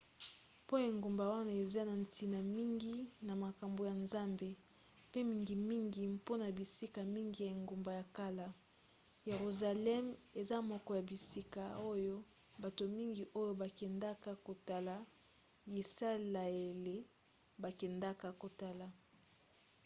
mpo engumba wana eza na ntina mingi na makambo ya nzambe mpe mingimingi mpona bisika mingi ya engumba ya kala yeruzaleme eza moko ya bisika oyo bato mingi oyo bakendaka kotala yisalaele bakendaka kotala